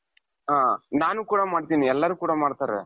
ಹ ನಾನು ಕೂಡ ಮಾಡ್ತೀನಿ ಎಲ್ಲರೂ ಕೂಡ ಮಾಡ್ತಾರೆ.